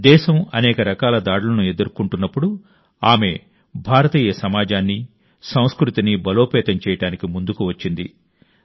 దేశం అనేక రకాల దాడులను ఎదుర్కొంటున్నప్పుడు ఆమె భారతీయ సమాజాన్ని సంస్కృతిని బలోపేతం చేయడానికి ముందుకు వచ్చింది